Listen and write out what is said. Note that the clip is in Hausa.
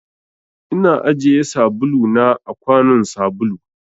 Ina ajiye sabulu na a kwanun sabulu.